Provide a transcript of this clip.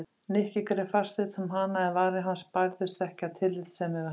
Nikki greip fast utan um hana en varir hans bærðust ekki af tillitsemi við hana.